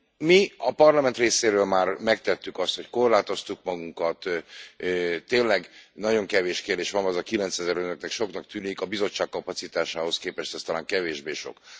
Mi a Parlament részéről már megtettük azt, hogy korlátoztuk magunkat, tényleg nagyon kevés kérdés van, gondolom, az a kilencezer önöknek soknak tűnik, a Bizottság kapacitásához képest ezt talán kevésbé sok.